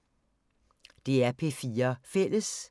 DR P4 Fælles